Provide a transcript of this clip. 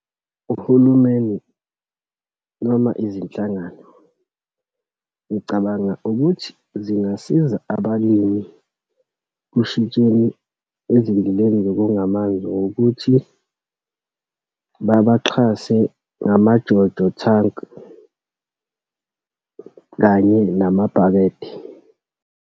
Uhulumeni noma izinhlangano, ngicabanga ukuthi zingasiza abalimi kushintsheni ezindleni zokonga amanzi ngokuthi, babaxhase ngama-JoJo thanki, kanye namabhakede.